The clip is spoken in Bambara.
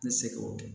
N bɛ se k'o kɛ